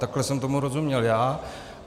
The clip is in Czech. Takhle jsem tomu rozuměl já.